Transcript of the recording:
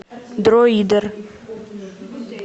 дроидер